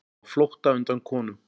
Á flótta undan konum